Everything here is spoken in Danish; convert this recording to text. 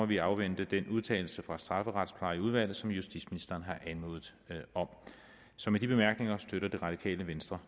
vi afvente den udtalelse fra strafferetsplejeudvalget som justitsministeren har anmodet om så med de bemærkninger støtter det radikale venstre